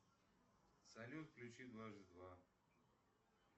салют включи дважды два